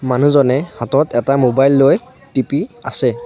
মানুহজনে হাতত এটা মোবাইল লৈ টিপি আছে।